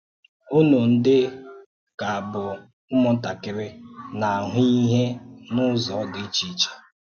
Ụ́nụ̀ ndị ka bụ́ mmụ́ntakịrị na-ahụ́ íhè n’ụ̀zọ̀ dị iche.